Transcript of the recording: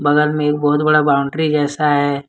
बगल में बहुत बड़ा बाउंड्री जैसा है।